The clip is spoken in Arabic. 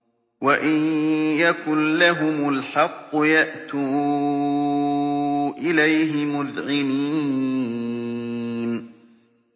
وَإِن يَكُن لَّهُمُ الْحَقُّ يَأْتُوا إِلَيْهِ مُذْعِنِينَ